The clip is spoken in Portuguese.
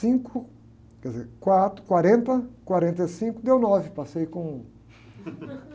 Cinco, quer dizer, quatro, quarenta, quarenta e cinco, deu nove, passei com,